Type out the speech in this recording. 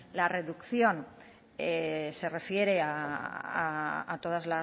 la reducción se refiere a todas